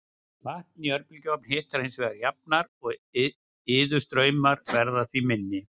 Vatn í örbylgjuofni hitnar hins vegar jafnar og iðustraumar verða því minni.